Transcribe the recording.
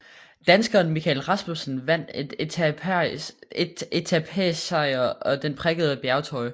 Danskeren Michael Rasmussen vandt en etapesejr og den prikkede bjergtrøje